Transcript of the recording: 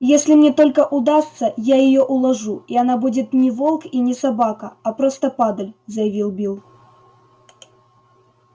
если мне только удастся я её уложу и она будет не волк и не собака а просто падаль заявил билл